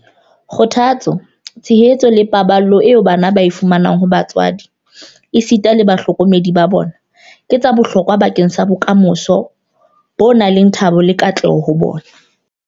Kgothatso, tshehetso le paballo eo bana ba e fumanang ho batswadi esita le bahlokomedi ba bona ke tsa bohlokwa bakeng sa bokamoso ba thabo le katleho ho bona.